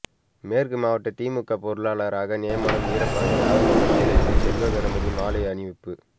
மேற்கு மாவட்ட திமுக பொறுப்பாளராக நியமனம் வீரபாண்டி ஆறுமுகம் சிலைக்கு செல்வகணபதி மாலை அணிவிப்பு